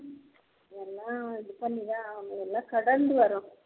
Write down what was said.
எல்லாம் இது பண்ணி தான் ஆகனும் எல்லாம் கடந்து வரணும்